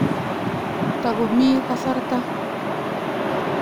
Tago mii kasarta.